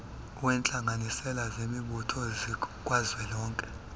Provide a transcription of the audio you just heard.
wentlanganisela zemibutho zikazwelonke